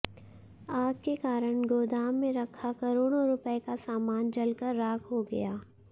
आग के कारण गोदाम में रखा करोड़ों रुपये का सामान जलकर राख हो गया